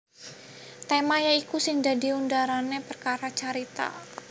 Tema ya iku sing dadi underane prakara carita